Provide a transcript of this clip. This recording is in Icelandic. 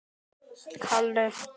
Emil hringdi aftur.